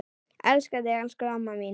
Elska þig, elsku amma mín.